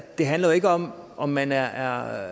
det handler jo ikke om om man er er